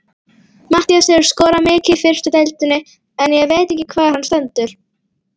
Matthías hefur skorað mikið í fyrstu deildinni en ég veit ekki hvar hann stendur.